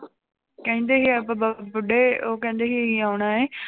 ਕਹਿੰਦੇ ਸੀ ਬੁੱਢੇ ਉਹ ਕਹਿੰਦੇ ਸੀ ਆਉਣਾ ਹੈ